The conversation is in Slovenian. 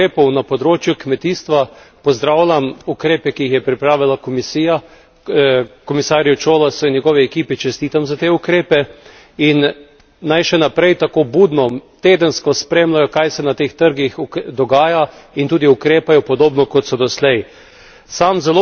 Kar se tiče ukrepov na področju kmetijstva pozdravljam ukrepe, ki jih je pripravila Komisijia, komisarju Cioloşu in njegov ekipi čestitam za te ukrepe in naj še naprej tako budno, tedensko spremljajo, kaj se na teh trgih dogaja, in tudi ukrepajo podobno, kot so doslej.